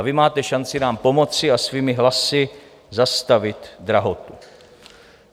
A vy máte šanci nám pomoci a svými hlasy zastavit drahotu.